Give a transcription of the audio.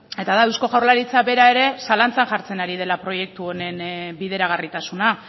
eta da eusko jaurlaritza bera ere zalantzan jartzen ari dela proiektu honen bideragarritasuna